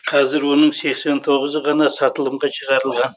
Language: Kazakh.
қазір оның сексен тоғызы ғана сатылымға шығарылған